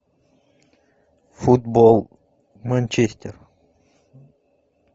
футбол манчестер